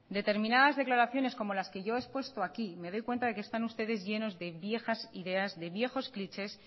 determinadas declaraciones como las que yo he expuesto aquí me doy cuenta de que están ustedes llenos de viejas ideas de viejos clichés